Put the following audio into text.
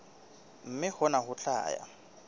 mme hona ho tla ya